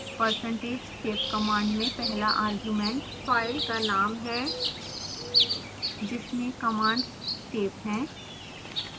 percentage save command में पहला argument file का नाम है जिसमें कमांड्स सेव हैं